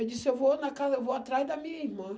Eu disse, eu vou na casa, eu vou atrás da minha irmã.